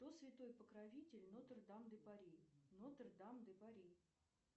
кто святой покровитель нотр дам де пари нотр дам де пари